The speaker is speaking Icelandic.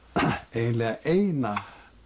eiginlega eina